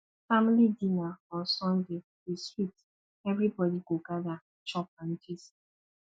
family dinner on sunday dey sweet everybody go gather chop and gist